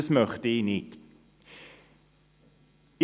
Das möchte ich nicht.